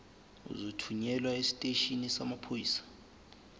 uzothunyelwa esiteshini samaphoyisa